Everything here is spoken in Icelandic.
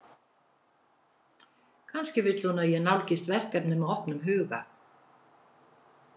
Kannski vill hún að ég nálgist verkefnið með opnum huga.